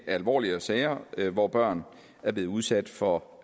alvorligere sager hvor børn er blevet udsat for